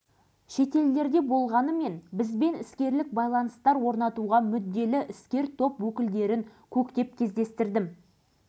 алашыбай сол жылдары бір газетке берген сұхбатында ойлап қарасақ солтүстік корея тайланд тайвань сингапур сияқты елдердің қайсысы да